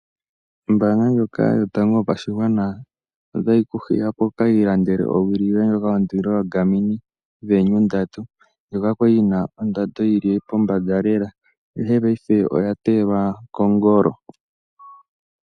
Ombaanga ndyoka yotango yopashigwana otayi kuhiya opo wukilande owili yoye ndyoka yondilo yoGarmini Venu 3, ndyoka kwali yina ondando yili pombanda lela ihe paife oyateyelwa kongolo.